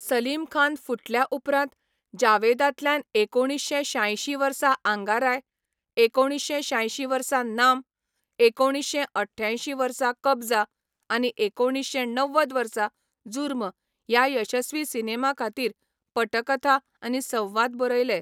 सलीम खान, फुटल्या उपरांत, जावेदांतल्यान एकुणीश्शें शांयशीं वर्सा आंगाराय, एकुणीश्शें शांयशीं वर्सा नाम, एकुणीश्शें अठठ्यांयशीं वर्सा कबझा आनी एकुणीश्शें णव्वद वर्सा जुर्म ह्या यशस्वी सिनेमां खातीर पटकथा आनी संवाद बरयले.